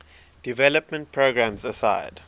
development programs aside